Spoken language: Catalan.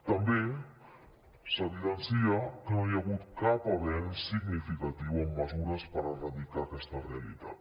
també s’evidencia que no hi ha hagut cap avenç significatiu amb mesures per erradicar aquesta realitat